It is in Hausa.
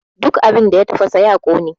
Duk abin da ya tafasa ya ƙone!